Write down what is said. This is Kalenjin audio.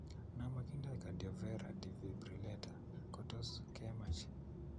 Na makinday Cardioverer Defibrillator kotos kematch.